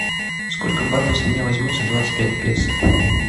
сколько батов с меня возьмут за двадцать пять песо